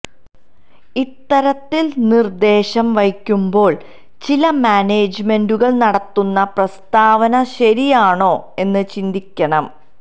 ഇത്തരത്തില് നിര്ദ്ദേശം വയ്ക്കുമ്പോള് ചില മാനേജ്മെന്റുകള് നടത്തുന്ന പ്രസ്താവന ശരിയാണോ എന്ന് ചിന്തിക്കണം